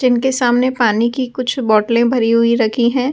जिनके सामने पानी की कुछ बोतलें भरी हुई रखी हैं ।